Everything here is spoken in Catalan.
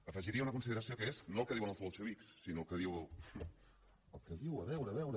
afegiria una consideració que és no el que diuen els bolxevics sinó el que diu a veure a veure